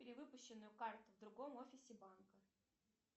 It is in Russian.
перевыпущенную карту в другом офисе банка